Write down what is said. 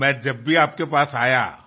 আমি যখনই আপনার কাছে গেছি